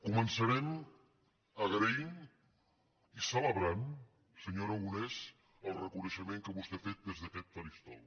començarem agraint i celebrant senyor aragonès el reconeixement que vostè ha fet des d’aquest faristol